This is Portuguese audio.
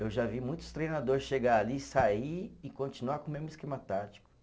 Eu já vi muitos treinador chegar ali, sair e continuar com o mesmo esquema tático.